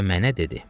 Və mənə dedi: